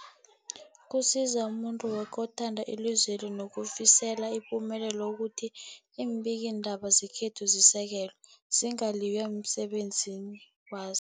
Kusiza umuntu woke othanda ilizweli nolifisela ipumelelo ukuthi iimbikiindaba zekhethu zisekelwe, zingaliywa emsebenzini waz